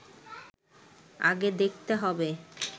আগে দেখতে হবে